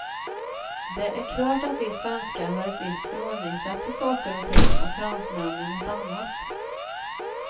Det är klart att vi svenskar har ett visst förhållningssätt till saker och ting, och fransmännen ett annat.